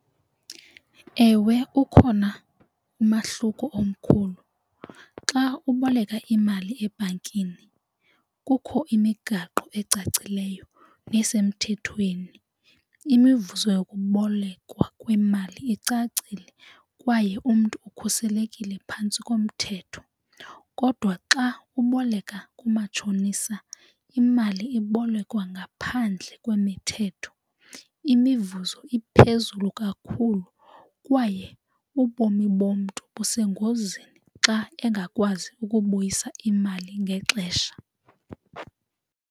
Ewe, ukhona umahluko omkhulu xa uboleka imali ebhankini kukho imigaqo ecacileyo nesemthethweni, imivuzo eyokubolekwa kwemali icacile kwaye umntu ukhuselekile phantsi komthetho. Kodwa xa uboleka kumatshonisa imali ibolekwa ngaphandle kwemithetho, imivuzo iphezulu kakhulu kwaye ubomi bomntu busengozini xa engakwazi ukubuyisa imali ngexesha.